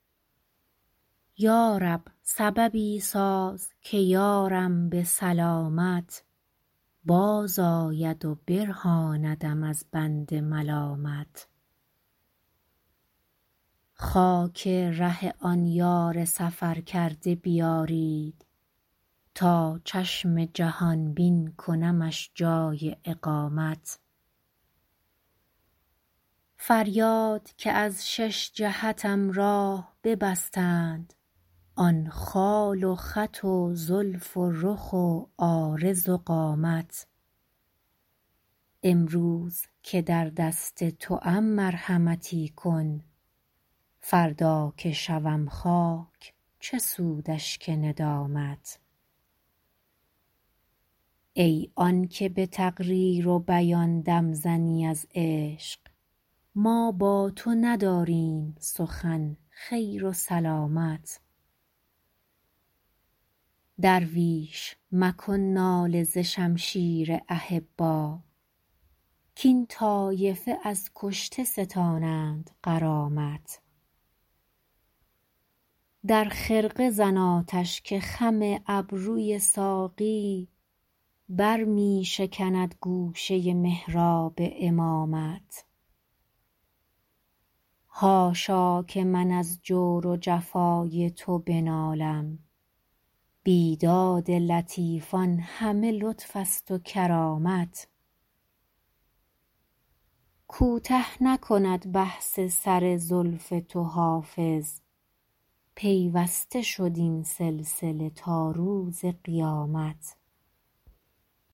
یا رب سببی ساز که یارم به سلامت بازآید و برهاندم از بند ملامت خاک ره آن یار سفرکرده بیارید تا چشم جهان بین کنمش جای اقامت فریاد که از شش جهتم راه ببستند آن خال و خط و زلف و رخ و عارض و قامت امروز که در دست توام مرحمتی کن فردا که شوم خاک چه سود اشک ندامت ای آن که به تقریر و بیان دم زنی از عشق ما با تو نداریم سخن خیر و سلامت درویش مکن ناله ز شمشیر احبا کاین طایفه از کشته ستانند غرامت در خرقه زن آتش که خم ابروی ساقی بر می شکند گوشه محراب امامت حاشا که من از جور و جفای تو بنالم بیداد لطیفان همه لطف است و کرامت کوته نکند بحث سر زلف تو حافظ پیوسته شد این سلسله تا روز قیامت